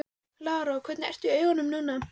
Lára: Og hvernig ertu í augunum núna?